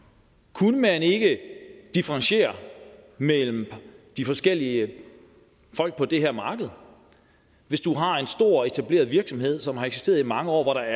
kunne man ikke differentiere mellem de forskellige folk på det her marked hvis du har en stor og etableret virksomhed som har eksisteret i mange år hvor der